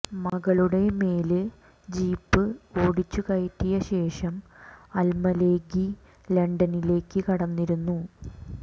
മകളുടെ മേല് ജീപ്പ് ഓടിച്ചു കയറ്റിയ ശേഷം അല്മലേകി ലണ്ടനിലേക്ക് കടന്നിരുന്നു